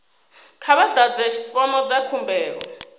kha vha ḓadze fomo dza khumbelo